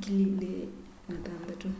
2006